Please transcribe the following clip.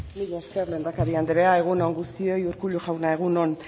mila esker lehendakari andrea egun on guztioi urkullu jauna egun on